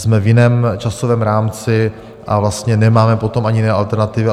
Jsme v jiném časovém rámci a vlastně nemáme potom ani jiné alternativy.